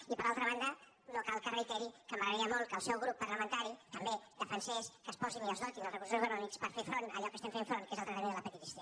i per altra banda no cal que reiteri que m’agradaria molt que el seu grup parlamentari també defensés que es posin i es dotin els recursos econòmics per fer front a allò que estem fent front que és el tractament de l’hepatitis c